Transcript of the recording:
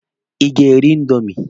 Ịga eri indomi?